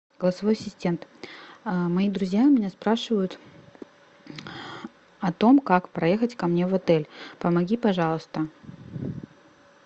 голосовой ассистент мои друзья меня спрашивают о том как проехать ко мне в отель помоги пожалуйста